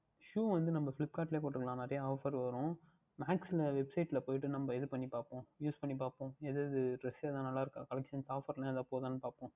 Shoe வந்து நாம் Flipkart லயே பார்த்துக்கொள்ளலாம் Offer நிறைய வரும் Max எல்லாம் Website யில் போட்டு நாம் இது பண்ணிப்பார்ப்போம் Use பண்ணிப்பார்ப்போம் இது எதாவுது நன்றாக இருக்கின்றதா Collection Offer எதாவுது போகின்றதா என்று பார்ப்போம்